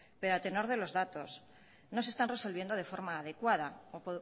pero a tenor de los datos no se están resolviendo de forma adecuada o